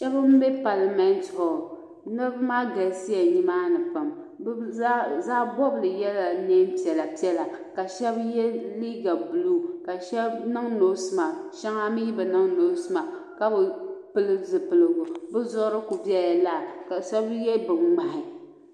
Shɛba m-be palimɛnti hɔli niriba maa ɡalisiya nimaani pam bɛ zaɣ' bɔbili yɛla neen' piɛlapiɛla ka shɛba ye liiɡa buluu ka shɛba niŋ noosi maaki shɛŋa mi bi niŋ noosi maaki ka bi pili zipiliɡu bɛ zuɣuri ku bela lala ka shɛba ye biŋŋmahi